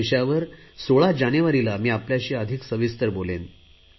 या विषयावर 16 जानेवारीला मी आपल्याशी अधिक सविस्तर बोलेन